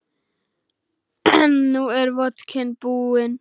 En nú er vodkinn búinn.